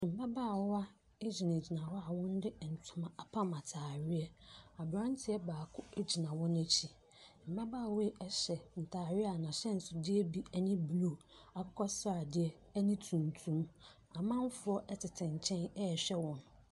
Mmabaawa egyina gyina hɔ a wɔn de ntoma apam ntaareɛ. Abranteɛ baako egyina wɔn akyi. Mmabaawa yi ɛhyɛ ntaadeɛ a n'ahyɛnsodeɛ bi ɛne bluu, akokɔsradeɛ ɛne tuntum. Amanfoɔ ɛtete nkyɛn ɛhwɛ wɔn.